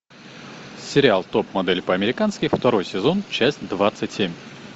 сериал топ модель по американски второй сезон часть двадцать семь